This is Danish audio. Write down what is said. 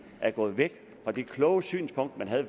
gået væk fra det kloge synspunkt man havde